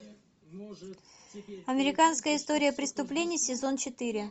американская история преступлений сезон четыре